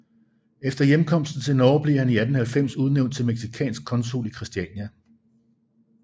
Efter hjemkomsten til Norge blev han i 1890 udnævnt til mexicansk konsul i Christiania